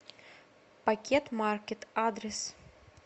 пакетмаркет адрес